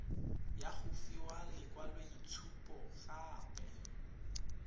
ya go fiwa lekwaloitshupo gape